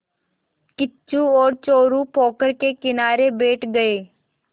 किच्चू और चोरु पोखर के किनारे बैठ गए